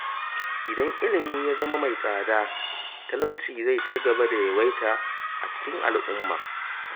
Idan ilimi ya zama mai tsada, talauci zai cigaba da yawaita a cikin al’umma.